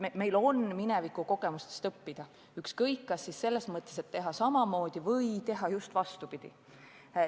Meil on minevikukogemustest õppida – ükskõik, kas selles mõttes, et teha samamoodi kui millalgi varem, või teha just vastupidi.